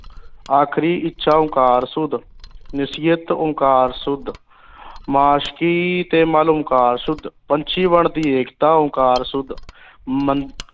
ਆਖਰੀ ਇੱਛਾ ਓਂਕਾਰ ਸੂਦ ਨਸੀਅਤ ਓਂਕਾਰ ਸੂਦ ਮਾਸ਼ਕੀ ਅਹ ਤੇ ਮਲ ਓਂਕਾਰ ਸੂਦ ਪੰਛੀ ਵਣ ਦੀ ਏਕਤਾ ਓਂਕਾਰ ਸੂਦ